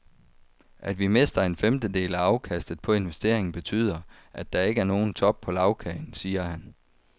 At vi mister en femtedel af afkastet på investeringen betyder, at der ikke er nogen top på lagkagen, siger han.